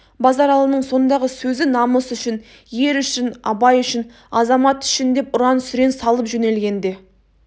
базаралының сондағы сөзі намыс үшін ер үшін абай үшін азамат үшін деп ұран сүрен салып жөнелгенде